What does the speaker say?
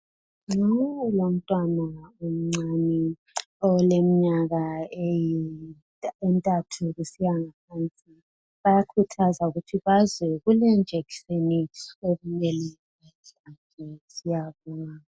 Lowu ngumtawana omncane oleminyaka enthathu kusiya ngaphansi bayakhuthaza ukuthi baze kule injection okumele bayihlatshwe.